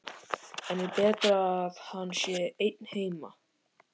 En er betra að hann sé einn heima?